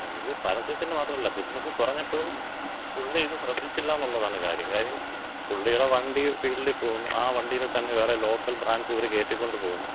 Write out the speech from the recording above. അതെ, ഇത് പരസ്യത്തിന്‍റെ മാത്രവല്ല ബിസിനസ് കുറഞ്ഞപ്പഴും പുള്ളി ഇത് ശ്രദ്ധിച്ചില്ലാന്നൊള്ളതാണ് കാര്യം. കാര്യം പുള്ളിടെ വണ്ടി ഫീൽഡി പോകുന്നു. ആ വണ്ടീല് തന്ന വേറെ ലോക്കൽ ബ്രാൻഡ്സ് ഇവര് കേറ്റിക്കൊണ്ട് പോകുന്നു.